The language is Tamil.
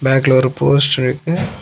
பேக்ல ஒரு போஸ்ட் இருக்கு.